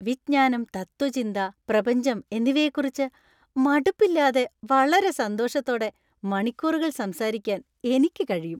വിജ്ഞാനം, തത്ത്വചിന്ത, പ്രപഞ്ചം എന്നിവയെക്കുറിച്ച് മടുപ്പില്ലാതെ വളരെ സന്തോഷത്തോടെ മണിക്കൂറുകൾ സംസാരിക്കാൻ എനിക്ക് കഴിയും.